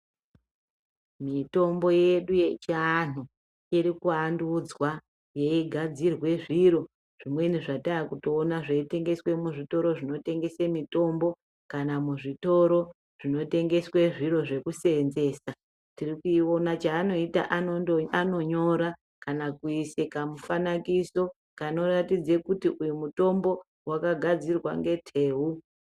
Mitombo yedu yechianhu irikuandudzwa yeigadzirwe zviro zvimweni zvatakutoona zveitengeswe muzvitoro zvinotengese mitombo kana muzvitoro zvinotengeswe zviro zvekuseenzesa tirkuiona chaanoita anonyora kana kuise kamufanakiso kanoratidze kuti uyu mutombo wakagadzirwe ngeteu.